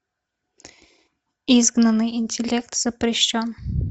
изгнанный интеллект запрещен